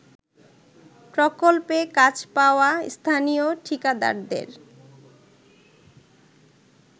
প্রকল্পে কাজ পাওয়া স্থানীয় ঠিকাদারদের